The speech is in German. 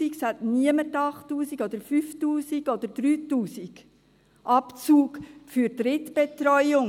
Es hat niemand einen 8000-, 5000- oder 3000-Franken-Abzug für betreuung.